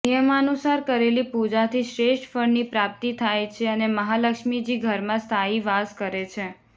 નિયમાનુસાર કરેલી પૂજાથી શ્રેષ્ઠ ફળની પ્રાપ્તિ થાય છે અને મહાલક્ષ્મીજી ઘરમાં સ્થાયી વાસ કરે છે